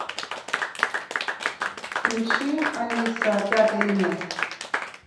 включи алиса пятый элемент